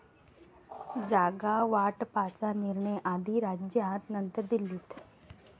जागावाटपाचा निर्णय आधी राज्यात नंतर दिल्लीत'